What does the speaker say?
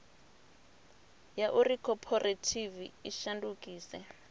ya uri khophorethivi i shandukise